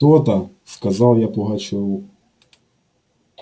то-то сказал я пугачёву